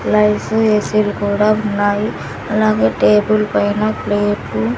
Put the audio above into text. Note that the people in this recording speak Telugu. ఏసీ లు కూడా ఉన్నాయి అలాగే టేబుల్ పైనా ప్లేటు --